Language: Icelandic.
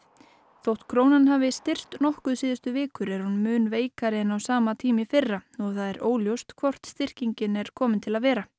þótt krónan hafi styrkst nokkuð síðustu vikur er hún mun veikari en á sama tíma í fyrra og það er óljóst hvort styrkingin sé komin til að vera